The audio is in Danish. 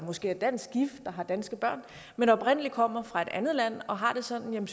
måske er dansk gift og har danske børn men oprindelig kommer fra et andet land og har det sådan